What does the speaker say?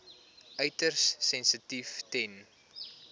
uiters sensitief ten